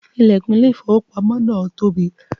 The door of the bank is big